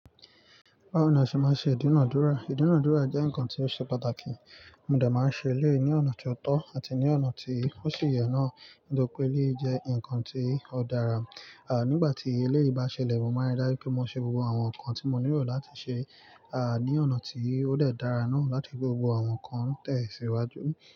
Báwo ni a ṣe máa ń ṣe ìdúnadúrà? Ìdúnadúrà jẹ́ nǹkan tí ó ṣe pàtàkì, mo dẹ máa ń ṣe eléyìí ní ọ̀nà tó tọ́ àti ní ọ̀nà tí ó sì yẹ náà, nítorí pé eléyìí jẹ́ ǹkan tí ó dára. À, nígbà tí eléyìí bá ṣẹlẹ̀, mo máa ń rí dájú pé mo ṣe gbogbo àwọn nǹkan tí mo nílò láti ṣe, à, ní ọ̀nà tí ó dẹ́ dára náà láti re pé gbogbo àwọn nǹkan tẹ̀ síwájú.